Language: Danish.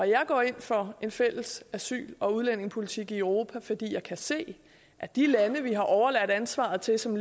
jeg går ind for en fælles asyl og udlændingepolitik i europa fordi jeg kan se at de lande vi har overladt ansvaret til som